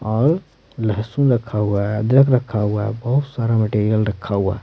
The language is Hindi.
और लहसुन रखा हुआ है अदरक रखा हुआ है बहुत सारा मटेरियल रखा हुआ है।